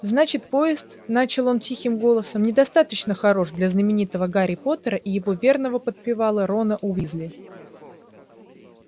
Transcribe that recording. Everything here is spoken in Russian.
значит поезд начал он тихим голосом недостаточно хорош для знаменитого гарри поттера и его верного подпевалы рона уизли